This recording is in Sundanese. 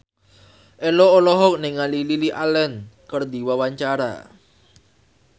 Ello olohok ningali Lily Allen keur diwawancara